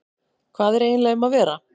Hvað er eiginlega um að vera?